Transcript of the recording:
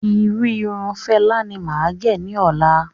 Irú Irun Fela ní máa gẹ̀ ní ọ̀la